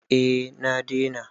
eh na dena